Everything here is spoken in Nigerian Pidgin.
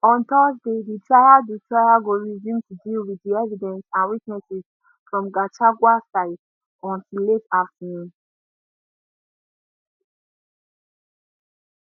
on thursday di trial di trial go resume to deal with di evidence and witnesses from gachagua side until late afternoon